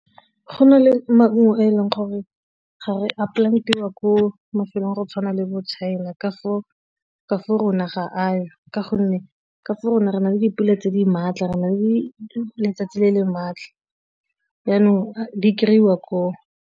Go na le maungo a e leng gore ga re a plant-iwa ko mafelong go tshwana le bo China ka fo rona ga a yo, ka gonne ka fo rona re na le dipula tse di maatla re na le letsatsi le e le maatla yanong di kry-iwa koo.